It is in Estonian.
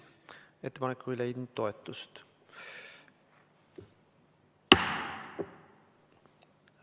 Ettepanek ei leidnud toetust.